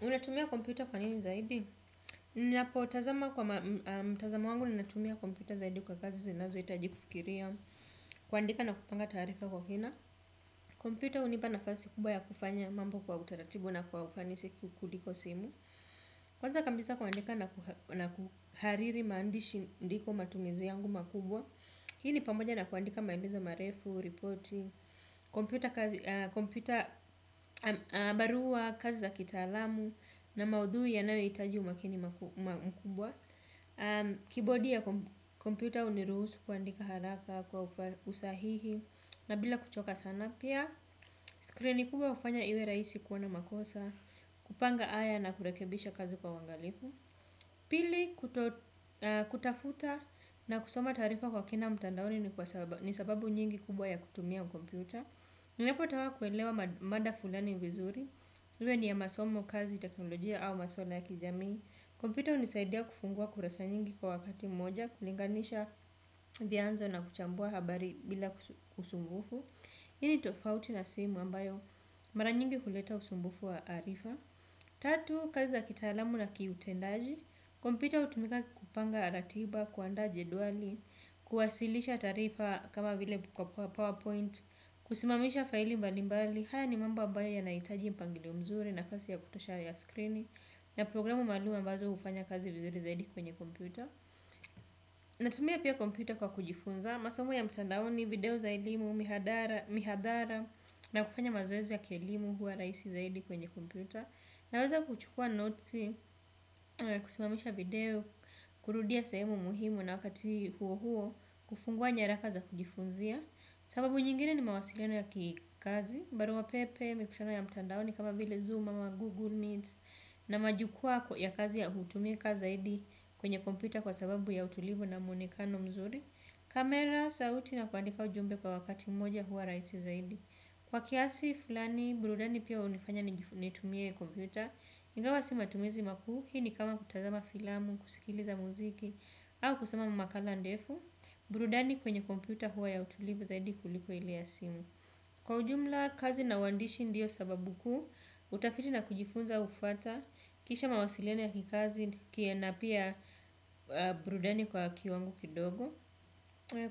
Unatumia kompyuta kwa nini zaidi? Ninapo tazama kwa mtazamo wangu ninatumia kompyuta zaidi kwa kazi zinazo itajikufikiria, kuandika na kupanga taarifa kwa kina, kompyuta unipa nafasi kubwa ya kufanya mambo kwa utaratibu na kwa ufanisi kuliko simu, kwanza kambisa kuandika na kuhariri maandishi ndiko matumizi yangu makubwa, hi ni pamoja na kuandika maandizi marefu, ripoti, kompyuta barua, kazi za kitaalamu. Na maudhui yanayo itaji umakini mkubwa. Kibodi ya kompyuta uniruhusu kuandika haraka kwa usahihi na bila kuchoka sana na pia screen kubwa hufanya iwe rahisi kuona makosa. Kupanga aya na kurekebisha kazi kwa uwangalifu. Pili kutafuta na kusoma tarifa kwa kina mtandaoni ni sababu nyingi kubwa ya kutumia kompyuta nilipotaka kuelewa mada fulani vizuri iwe ni ya masomo, kazi teknolojia au maswala ya kijamii kompyuta hunisaidia vianzo na kuchambua habari bila usumbufu, i ni tofauti na simu ambayo mara nyingi huleta usumbufu wa arifa. Tatu, kazi za kitaalamu na kiutendaji. Kompyuta utumika kupanga ratiba, kuanda jeduali. Kuwasilisha tarifa kama vile buka powerpoint. Kusimamisha faili balimbali. Haya ni mambo ambayo yana itaji mpangilio mzuri nafasi ya kutosha ya skrini. Na programu maluum ambazo ufanya kazi vizuri zaidi kwenye kompyuta. Natumia pia kompyuta kwa kujifunza masomo ya mtandaoni, video za ilimu, mihadara na kufanya mazoezi ya kielimu huwa raisi sana kwenye kompyuta. Naweza kuchukua notes, kusimamisha video, kurudia semu muhimu na wakati huo huo, kufungua nyaraka za kujifunzia. Sababu nyingine ni mawasiliano ya kikazi, barua pepe, mikutano ya mtandaoni kama vile zoom ama google needs. Na majukwa ya kazi ya hutumika zaidi kwenye kompyuta kwa sababu ya utulivu na muonekano mzuri. Kamera sauti na kuandika ujumbe kwa wakati moja huwa raisi zaidi. Kwa kiasi flani burudani pia hunifanya nitumie kompyuta. Ingawa si matumizi makuu hi ni kama kutazama filamu, kusikiliza muziki, au kusema mamakala ndefu, burudani kwenye kompyuta huwa ya utulivu zaidi kuliko ile ya simu. Kwa ujumla kazi na uandishi ndiyo sababu kuu utafiti na kujifunza hufuata kisha mawasiliani ya kikazi na pia burudani kwa kiwango kidogo.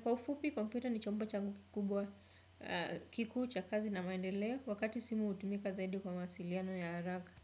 Kwa ufupi kompyuta ni chombo changu kikubwa kikuu cha kazi na maendeleo. Wakati simu utumika zaidi kwa masiliano ya araka.